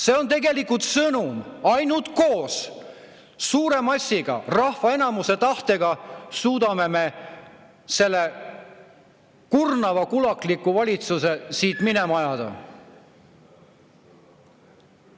" See on tegelikult sõnum: ainult koos suure massiga, rahva enamuse tahtega suudame me selle kurnava kulakliku valitsuse siit minema ajada.